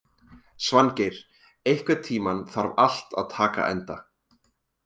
Svangeir, einhvern tímann þarf allt að taka enda.